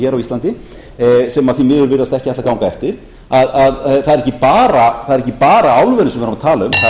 er ekki bara álverin sem við erum að tala um það er bara þessi almenna stefnumótun að nýta þá orku sem er í